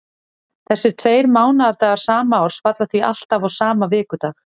Þessir tveir mánaðardagar sama árs falla því alltaf á sama vikudag.